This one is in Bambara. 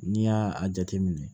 N'i y'a a jateminɛ